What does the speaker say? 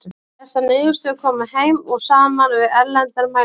Þessar niðurstöður koma heim og saman við erlendar mælingar.